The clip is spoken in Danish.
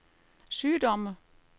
sygdomme